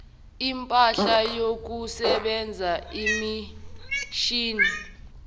impahla yokusebenza imishini